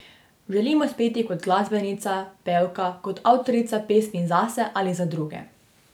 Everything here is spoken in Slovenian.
Želim uspeti kot glasbenica, pevka, kot avtorica pesmi zase ali za druge.